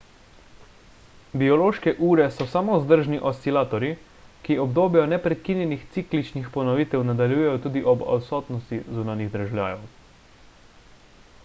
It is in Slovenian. biološke ure so samovzdržni oscilatorji ki obdobja neprekinjenih cikličnih ponovitev nadaljujejo tudi ob odsotnosti zunanjih dražljajev